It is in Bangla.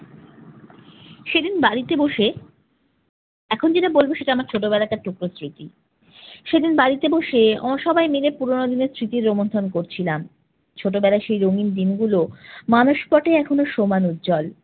সেদিন বাড়িতে বসে, এখন যেটা বলব সেটা আমার ছোটবেলাকার টুকরো স্মৃতি। সেদিন বাড়িতে বসে ও সবাই মিলে পুরোনো দিনের স্মৃতি রোমন্থন করছিলাম। ছোটবেলার সেই রঙিন দিনগুলো মানসপটে এখনো সমান উজ্জ্বল।